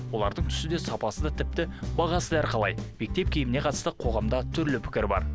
олардың түсі де сапасы да тіпті бағасы да әрқалай мектеп киіміне қатысты қоғамда түрлі пікір бар